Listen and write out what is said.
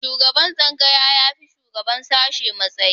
Shugaban tsangaya ya fi shugaban sashe matsayi